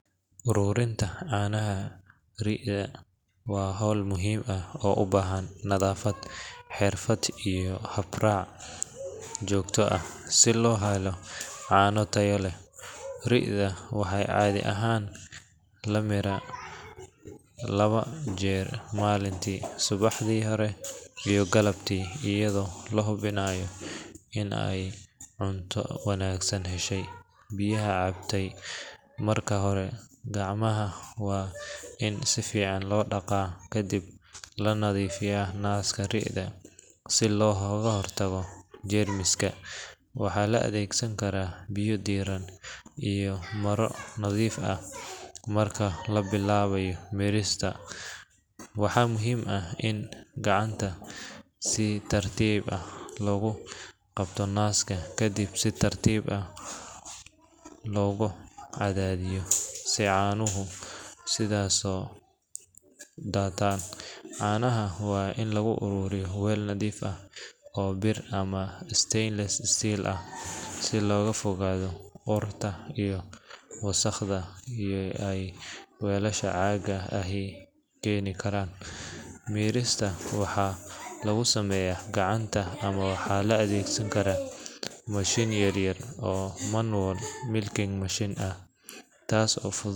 Ururinta canaha waa howl muhiim ah oo ubahan nadafad, riida waxaa cadii ahaan lamiira laba jeer malinki, ayado la hubinaaya inaay heshe cunto iyo biyo, waa in gacmaha si fican loo daqdo, waa in gacanta si tartiib ah loogu qabto nasaka, canaha waa in lagu aruuriyo weeel nadiif ah, waxaa lagu sameeya gacanta ama mishin yar.